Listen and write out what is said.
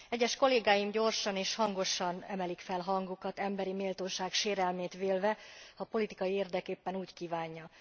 Egyes kollégáim gyorsan és hangosan emelik fel hangjukat emberi méltóság sérelmét vélve, ha a politikai érdek éppen úgy kívánja.